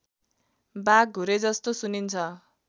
बाघ घुरेजस्तो सुनिन्छ